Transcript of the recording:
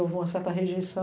Houve uma certa rejeição.